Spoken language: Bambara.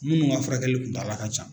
Minnu ka furakɛli kuntaala ka jan